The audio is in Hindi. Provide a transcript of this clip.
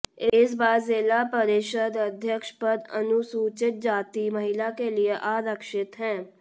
इस बार जिला परिषद अध्यक्ष पद अनुसूचित जाति महिला के लिए आरक्षित है